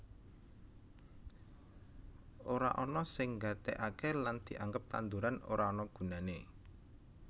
Ora ana sing nggatekake lan dianggep tanduran ora ana gunane